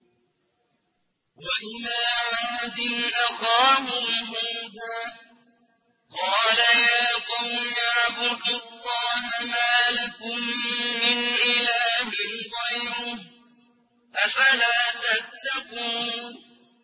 ۞ وَإِلَىٰ عَادٍ أَخَاهُمْ هُودًا ۗ قَالَ يَا قَوْمِ اعْبُدُوا اللَّهَ مَا لَكُم مِّنْ إِلَٰهٍ غَيْرُهُ ۚ أَفَلَا تَتَّقُونَ